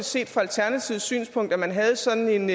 set fra alternativets synspunkt at man havde sådan en